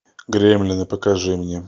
гремлины покажи мне